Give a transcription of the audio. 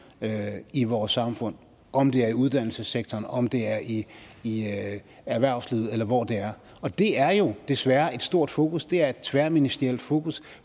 i vores samfund om det er i uddannelsessektoren om det er i i erhvervslivet eller hvor det er og det er jo desværre et stort fokus det er et tværministerielt fokus